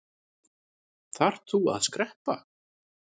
Þarft þú að skreppa?